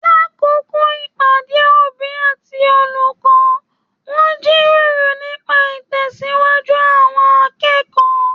L'akoko ìpàdé òbí àti olùkọ́, wọn jíròrò nípa itẹsiwaju àwọn akẹ́kọ̀ọ́.